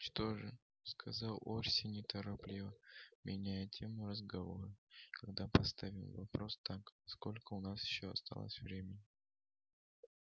ну что же сказал орси неторопливо меняя тему разговора тогда поставим вопрос так сколько у нас ещё осталось времени